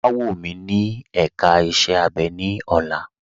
Wà wọ̀ mí ní èká ìṣẹ̀ abẹ̀ ni ọ̀lá.